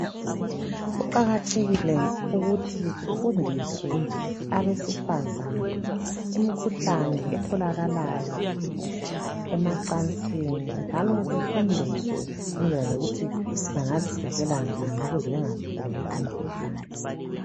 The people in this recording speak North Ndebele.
Kuqakathekile ukuthi kufundiswe abesifazana ngoba imkhuhlane etholakalayo emacansini njalo befundiswe ngendlela zokuthi bengazivikela njani ukuze bengaguli imkhuhlane